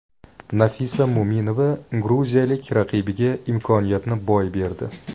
Nafisa Mo‘minova gruziyalik raqibiga imkoniyatni boy berdi.